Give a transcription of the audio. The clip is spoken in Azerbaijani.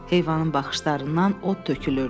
Heyvanın baxışlarından od tökülürdü.